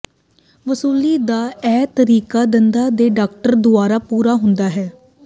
ਵਸੂਲੀ ਦਾ ਇਹ ਤਰੀਕਾ ਦੰਦਾਂ ਦੇ ਡਾਕਟਰਾਂ ਦੁਆਰਾ ਪੂਰਾ ਹੁੰਦਾ ਹੈ